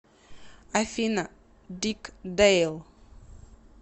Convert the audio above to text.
афина дик дэйл